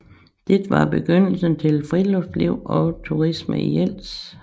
Det var begyndelsen til friluftsliv og turisme i Jels